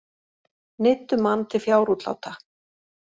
Neyddu mann til fjárútláta